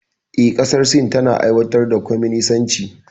Eh, ƙasar Sin tana aiwatar da kwaminisanci.